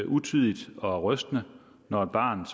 utidigt og rystende når barnet